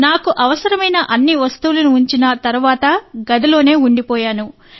నాకు అవసరమైన అన్ని వస్తువులను ఉంచిన తరువాత గదిలోనే ఉండిపోయాను